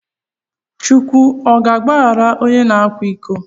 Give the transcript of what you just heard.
Chukwu ọ ga agbaghara ọnye na akwa iko?